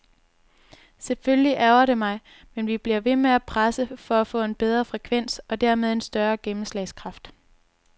Selvfølgelig ærgrer det mig, men vi bliver ved med at presse på for at få en bedre frekvens og dermed en større gennemslagskraft.